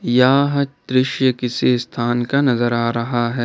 यह दृश्य किसी स्थान का नजर आ रहा है।